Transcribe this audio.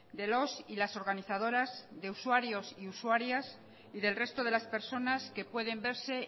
de los y las organizadoras de usuarios y usuarias y del resto de las personas que pueden verse